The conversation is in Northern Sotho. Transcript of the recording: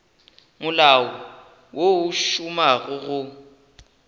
molao wo o šomago go